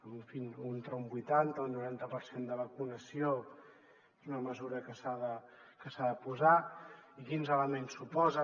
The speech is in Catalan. si amb entre un vuitanta i un noranta per cent de vacunació és una mesura que s’ha de posar i quins elements suposa